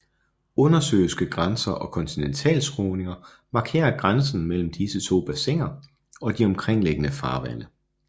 Undersøiske grænser og kontinentalskråninger markerer grænsen mellem disse to bassiner og de omkringliggende farvande